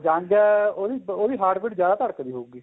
young ਆ ਉਹਦੀ heart beat ਜਿਆਦਾ ਧੜਕਦੀ ਹੋਊਗੀ